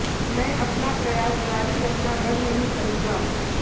मैं अपना प्रयास जारी रखना बंद नहीं करूंगा